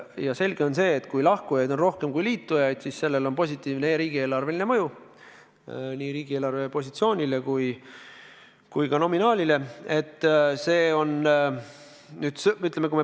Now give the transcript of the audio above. Ja selge on, et kui lahkujaid on rohkem kui liitujaid, siis sellel on positiivne riigieelarveline mõju nii riigieelarve positsioonile kui ka nominaalile.